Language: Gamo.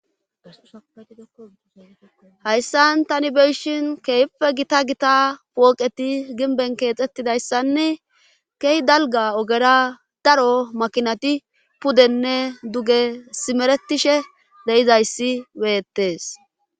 Hayssan tani beyishin keehippe gita gita pooqeti ginben keexetidayssanne kehi dalga ogera daro makinati pudenne duge simeretishe deyizayssi beyettes.